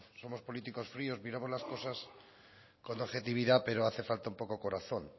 somos políticos fríos miramos las cosas con objetividad pero hace falta un poco corazón